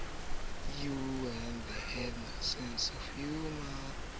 o tjha ntshi ke ka